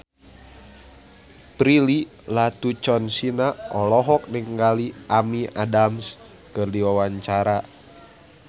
Prilly Latuconsina olohok ningali Amy Adams keur diwawancara